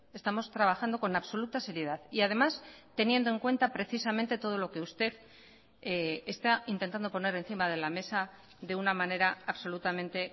estamos trabajando con absoluta seriedad y además teniendo en cuenta precisamente todo lo que usted está intentando poner encima de la mesa de una manera absolutamente